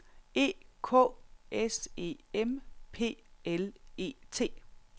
E K S E M P L E T